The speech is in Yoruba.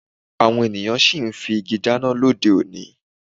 Àwọn ènìyàn sì ń fi igi dáná lóde òní